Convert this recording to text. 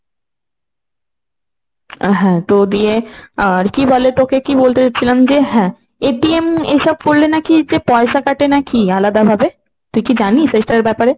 হ্যাঁ তো দিয়ে কি বলে তোকে কি বলতে চাচ্ছিলাম যে হ্যাঁ? এইসব করলে নাকি যে পয়সা কাটে নাকি আলাদাভাবে? তুই কি জানিস এসবের ব্যাপারে?